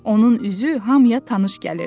Onun üzü hamıya tanış gəlirdi.